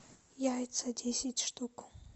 яйца десять штук